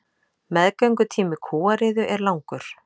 Meðgöngutími kúariðu er langur.